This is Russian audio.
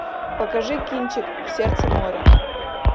покажи кинчик в сердце моря